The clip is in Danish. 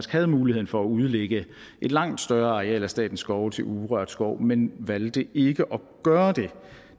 havde muligheden for at udlægge et langt større areal af statens skove til urørt skov men valgte ikke at gøre